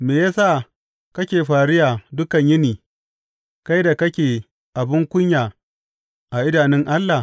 Me ya sa kake fariya dukan yini, kai da kake abin kunya a idanun Allah?